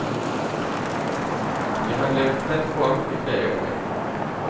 Jeg har levd tett på ham i flere år.